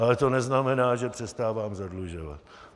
Ale to neznamená, že přestávám zadlužovat.